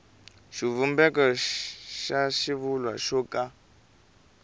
xivumbeko xa xivulwa xo ka